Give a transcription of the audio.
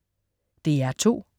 DR2: